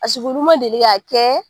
Paseke olu ma deli k'a kɛ